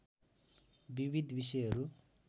विविध विषयहरू